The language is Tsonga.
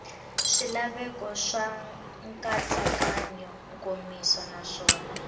swilaveko swa nkatsakanyo nkomiso naswona